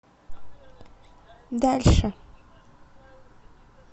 дальше